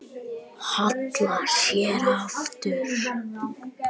Hallar sér aftur.